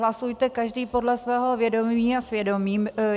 Hlasujte každý podle svého vědomí a svědomí.